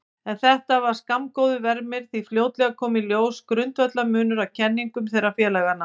En þetta var skammgóður vermir því fljótlega kom í ljós grundvallarmunur á kenningum þeirra félaga.